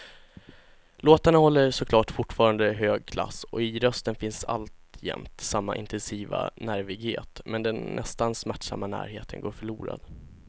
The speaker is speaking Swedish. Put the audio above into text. Låtarna håller såklart fortfarande hög klass och i rösten finns alltjämt samma intensiva nervighet, men den nästan smärtsamma närheten går förlorad.